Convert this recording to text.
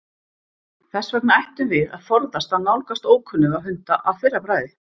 Þess vegna ættum við að forðast að nálgast ókunnuga hunda að fyrra bragði.